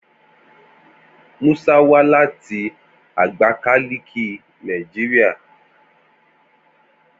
Musa wa lati Agbakaliki, Nigeria